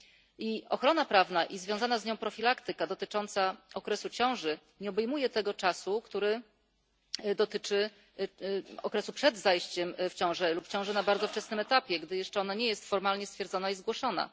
I ochrona prawna, i związana z nią profilaktyka dotycząca okresu ciąży nie obejmuje tego czasu, który dotyczy okresu przed zajściem w ciążę lub w ciąży na bardzo wczesnym etapie, gdy jeszcze ona nie jest formalnie stwierdzona i zgłoszona.